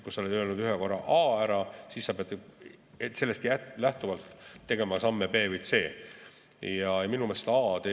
Kui sa oled korra öelnud A, siis sa pead sellest lähtuvalt tegema ka sammud B ja C poole.